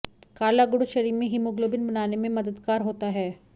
काला गुड़ शरीर में हीमोग्लोबीन बनाने में बददगार होता है